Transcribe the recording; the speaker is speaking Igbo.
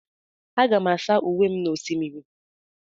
Aga m asa uwe m n'osimiri.